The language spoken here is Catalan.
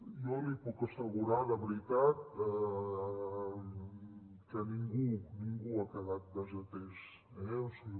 jo li puc assegurar de veritat que ningú ningú ha quedat desatès eh o sigui